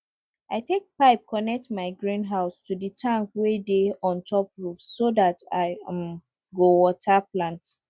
i take pipe connect my greenhouse to the tank wey dey on top roof so dat i um go water plants